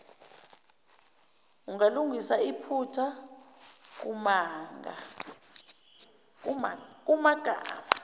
ungalungisa iphutha kumagama